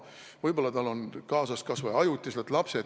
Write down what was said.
Võib-olla on tal kas või ajutiselt kaasas lapsed.